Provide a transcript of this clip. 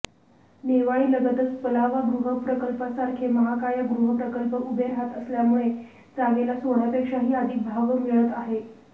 नेवाळीलगतच पलावा गृहप्रकल्पासारखे महाकाय गृहप्रकल्प उभे राहत असल्यामुळे जागेला सोन्यापेक्षाही अधिक भाव मिळत आहे